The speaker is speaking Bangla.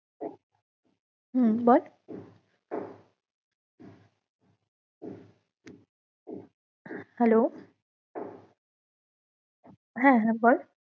হম বল hello হ্যাঁ হ্যাঁ বল